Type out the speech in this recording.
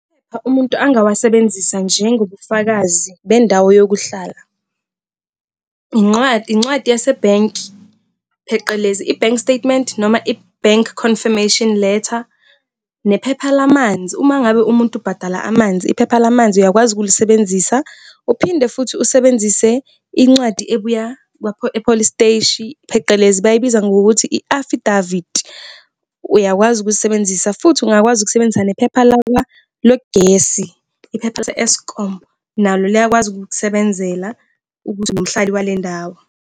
Amaphepha umuntu angawasebenzisa njengobufakazi bendawo yokuhlala, incwadi, incwadi yasebhenki pheqelezi, i-bank statement noma i-bank confirmation letter nephepha lamanzi. Uma ngabe umuntu ubhadala amanzi, iphepha lamanzi uyakwazi ukulisebenzisa. Uphinde futhi usebenzise incwadi ebuya e-police siteshi, pheqelezi bayibiza ngokuthi i-affidavit, uyakwazi ukuyisebenzisa. Futhi ungakwazi ukusebenzisa nephepha logesi, iphepha lase-Eskom, nalo liyakwazi ukukusebenzela ukuthi uwumhlali wale ndawo.